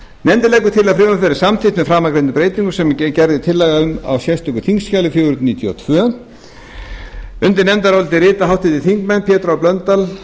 nefndin leggur til að frumvarpið verði samþykkt með framangreindum breytingum sem gerð er tillaga um í sérstöku þingskjali fjögur hundruð níutíu og tvö undir nefndarálitið rita háttvirtir þingmenn pétur h blöndal